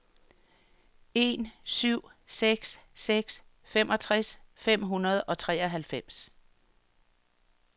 en syv seks seks femogtres fem hundrede og treoghalvfems